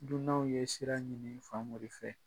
Dunanw ye sira ɲini Famori fɛ.